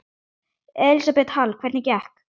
Elísabet Hall: Hvernig gekk?